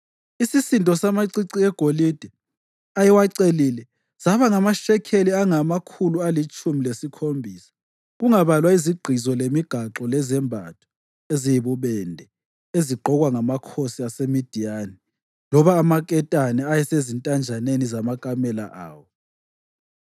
Isisindo samacici egolide ayewacelile saba ngamashekeli angamakhulu alitshumi lesikhombisa, kungabalwa izigqizo lemigaxo lezembatho eziyibubende ezigqokwa ngamakhosi aseMidiyani loba amaketane ayesezintanjeni zamakamela awo.